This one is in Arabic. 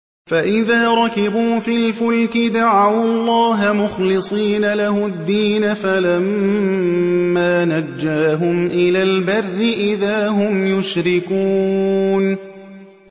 فَإِذَا رَكِبُوا فِي الْفُلْكِ دَعَوُا اللَّهَ مُخْلِصِينَ لَهُ الدِّينَ فَلَمَّا نَجَّاهُمْ إِلَى الْبَرِّ إِذَا هُمْ يُشْرِكُونَ